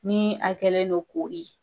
Ni a kɛlen don kori ye